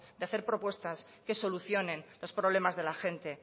de hacer propuestas que solucionen los problemas de la gente